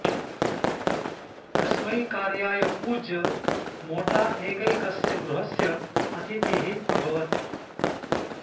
अस्मै कार्याय पूज्य मोटा एकैकस्य गृहस्य अतिथिः अभवत्